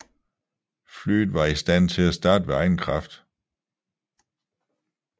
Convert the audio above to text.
Flyet var i stand til at starte ved egen kraft